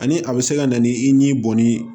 Ani a bɛ se ka na ni i n'i bɔnni